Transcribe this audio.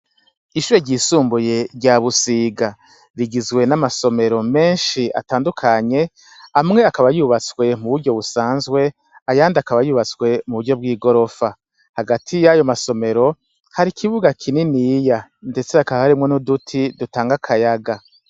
Ishure ryisumbuye rya Busiga rigizwe n' amasomero menshi atandukanye amwe akaba yubatswe mu buryo busanzwe ayandi akaba yubatswe muburyo bw' igorofa hagati yayo masomero hari ikibuga kininiya ndetse hakaba harimwo n' uduti dutanga akayaga.